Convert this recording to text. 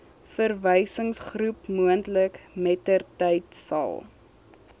verwysingsgroep moontlik mettertydsal